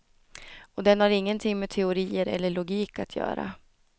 Och den har ingenting med teorier eller logik att göra.